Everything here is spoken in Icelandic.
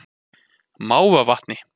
Mávavatni